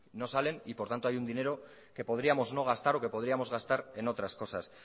no salen y por tanto hay un dinero que podríamos no gastar o que podríamos gastar en otras cosas